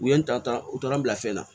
U ye n ta ta u taara n bila fɛn na